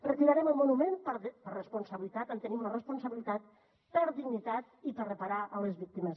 retirarem el monument per responsabilitat en tenim la responsabilitat per dignitat i per reparar les víctimes